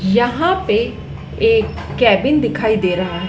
यहां पे एक केबिन दिखाई दे रहा है।